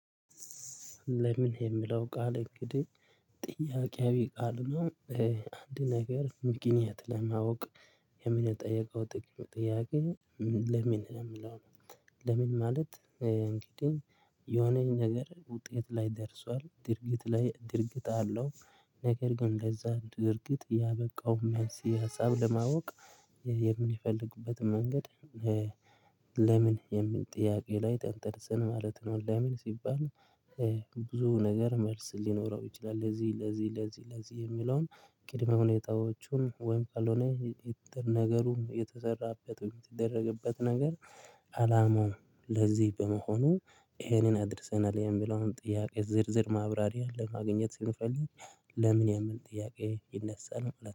ለምን የሚለው ቃል እንግዲህ ጥያቄያዊ ቃል ነው። አንድ ነገር ምክንያት ለማወቅ የምንጠየቀው ጥያቄ። ለምን የሚለው ለምን ማለት እንግዲህ የሆነ ነገር ውጤት ላይ ደርሷል ድርጊት ላይ ድርጊት አለው። ነገር ግን እንደዛ እርግጥ ያበቃውን መንስኤ ሀሳብ ለማወቅ የምንፈልግበት መንገድ። ለምን የሚል ጥያቄ ላይ ተንተርሰን ማለት ነው። ለምን ሲባል ብዙ ነገር መልስ ሊኖረው ይችላል። ለዚህ ለዚህ ለዚህ ለዚህ የሚለውን ቅድመ ሁኔታዎቹን ወይም ካልሆነ ነገሩ የተሰራበት ወይም የተደረገበት ነገር። አላማው ለዚህ በመሆኑ ይሄንን አድርሰናል የሚለውን ጥያቄ ዝርዝር ማብራሪያ ለማግኘት ስንፈልግ። ለምን የሚል ጥያቄ ይነሳል